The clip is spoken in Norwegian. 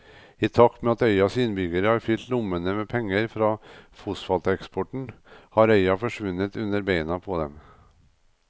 I takt med at øyas innbyggere har fylt lommene med penger fra fosfateksporten har øya forsvunnet under beina på dem.